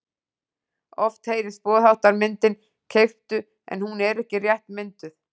Oft heyrist boðháttarmyndin keyptu en hún er ekki rétt mynduð.